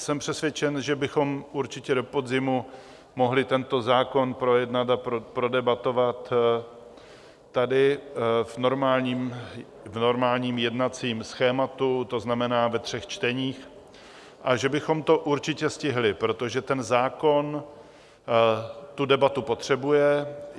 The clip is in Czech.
Jsem přesvědčen, že bychom určitě do podzimu mohli tento zákon projednat a prodebatovat tady v normálním jednacím schématu, to znamená ve třech čteních, a že bychom to určitě stihli, protože ten zákon tu debatu potřebuje.